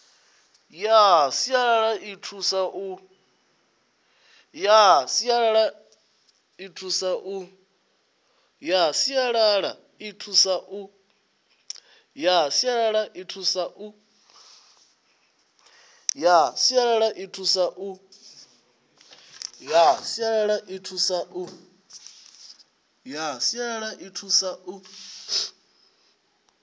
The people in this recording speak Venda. ya sialala i thusa u